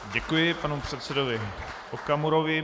Děkuji panu předsedovi Okamurovi.